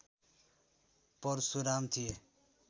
परशुराम थिए